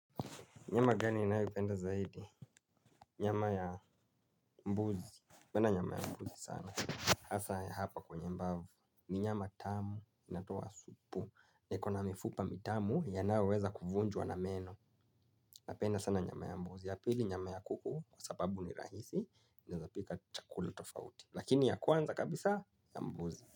Nyama gani ninayopenda zaidi? Nyama ya mbuzi. Penda nyama ya mbuzi sana. Asa ya hapa kwenye mbavu ni nyama tamu inatoa supu na ikona mifupa mitamu yanayo weza kuvunjwa na meno. Napenda sana nyama ya mbuzi ya pili nyama ya kuku kwa sababu ni rahisi inaezapika chakula tofauti lakini ya kwanza kabisa ya mbuzi.